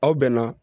Aw bɛn na